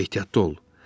Ehtiyatlı ol.